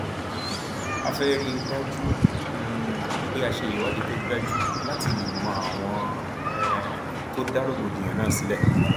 a fẹẹ rí i dájú um pé a ṣe ìwádìí tó dájú láti lè mọ àwọn um tó dá rògbòdìyàn náà sílẹ